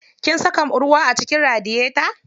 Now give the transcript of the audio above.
Kin saka ruwa a cikin radiyeta?